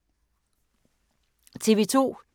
TV 2